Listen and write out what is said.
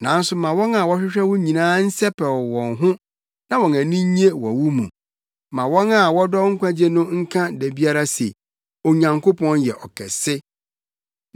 Nanso ma wɔn a wɔhwehwɛ wo nyinaa nsɛpɛw wɔn ho na wɔn ani nnye wɔ wo mu; ma wɔn a wɔdɔ wo nkwagye no nka da biara se, “Onyankopɔn yɛ ɔkɛse!”